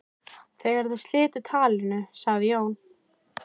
Þegar þeir slitu talinu sagði Jón